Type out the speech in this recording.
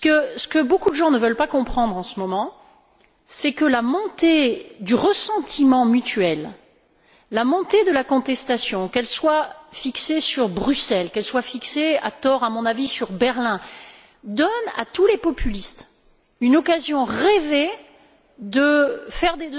Ce que beaucoup de gens ne veulent pas comprendre, en ce moment, c'est que la montée du ressentiment mutuel, la montée de la contestation, qu'elle soit fixée sur Bruxelles, qu'elle soit fixée à tort, à mon avis sur Berlin, donne à tous les populistes une occasion rêvée de faire